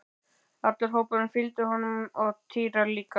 Allur hópurinn fylgdi honum og Týri líka!